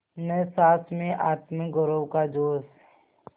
न सास में आत्मगौरव का जोश